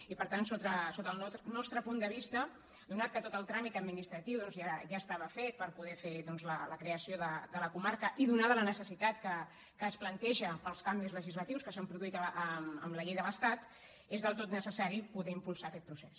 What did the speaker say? i per tant sota el nostre punt de vista donat el fet que tot el tràmit administratiu doncs ja estava fet per poder fer la creació de la comarca i donada la necessitat que es planteja pels canvis legislatius que s’han produït amb la llei de l’estat és del tot necessari poder impulsar aquest procés